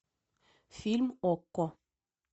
фильм окко